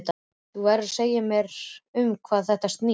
Þú verður að segja mér um hvað þetta snýst.